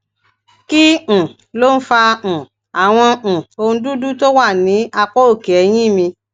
kí um ló ń fa um àwọn um ohun dúdú tó wà ní apá òkè eyín mi